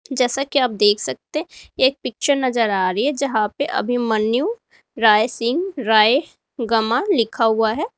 जैसा कि आप देख सकते हैं एक पिक्चर नजर आ रही है जहां पे अभिमन्यु राय सिंह राय गमा लिखा हुआ है।